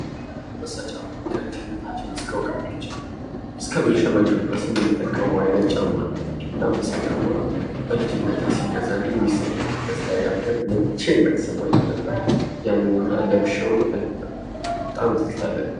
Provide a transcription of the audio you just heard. አንበሳ ጫማ ከልጅነታችን እስከእውቀታችን እስከምንሸመግል ድረስ የምንጠቀመው አይነት ጫማ ነው። እና አንበሳ ጫማ በልጅነቴ ሲገዛልኝ የሚሰማኝ ደስታ ያክል መቼም አይሰማኝም ነበር። ያንን እና ለብሼው ብዙ ትዝታ አለብኝ።